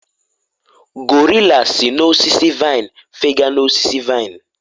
gorilla si n'osisi vine fega n'osisi vine